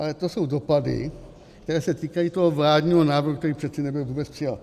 Ale to jsou dopady, které se týkají toho vládního návrhu, který přeci nebyl vůbec přijat.